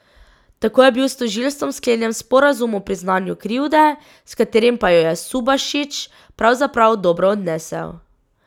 Tako je bil s tožilstvom sklenjen sporazum o priznanju krivde, s katerim pa jo je Subašić pravzaprav dobro odnesel.